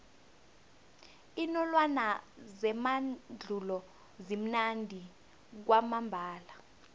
iinolwana zemandulo zimnandi kwamambala